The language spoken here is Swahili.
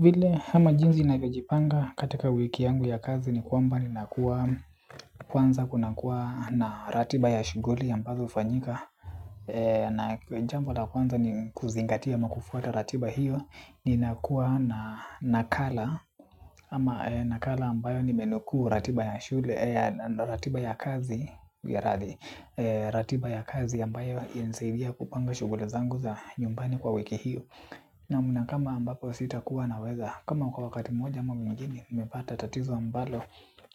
Vile ama jinsi navyojipanga katika wiki yangu ya kazi ni kwamba ninakuwa kwanza kuna kuwa na ratiba ya shuguli ambazo ufanyika. Na jambo la kwanza ni kuzingatia ama kufuata ratiba hiyo ni nakuwa na nakala. Ama nakala ambayo nimenukuu ratiba ya shule ya ratiba ya kazi ya ratiba ya kazi ambayo inasaibia kupanga shuguli zangu za nyumbani kwa wiki hiyo. Naamu na kama ambapo sitakuwa na weza kama kwa wakati moja mwa mwingine nimepata tatizo ambalo